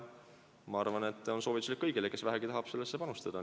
Ma soovitan seda kõigile, kes vähegi tahavad sellesse panustada.